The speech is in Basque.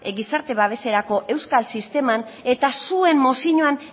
gizarte babeserako euskal sisteman eta zuen mozioan